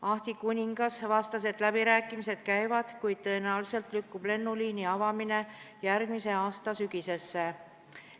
Ahti Kuningas vastas, et läbirääkimised käivad, kuid tõenäoliselt lükkub lennuliini avamine järgmise aasta sügisesse.